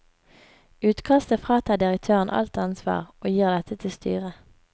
Utkastet fratar direktøren alt ansvar og gir dette til styret.